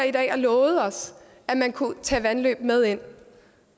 og lovede os at man kunne tage vandløb med ind